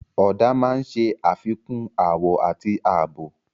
Ọ̀dà máa ń ṣe àfikún àwọ̀ àti ààbò.